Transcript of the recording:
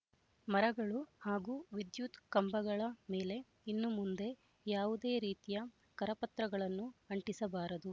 ಮರಗಳು ಹಾಗೂ ವಿದ್ಯುತ್ ಕಂಬಗಳ ಮೇಲೆ ಇನ್ನು ಮುಂದೆ ಯಾವುದೇ ರೀತಿಯ ಕರಪತ್ರಗಳನ್ನು ಅಂಟಿಸಬಾರದು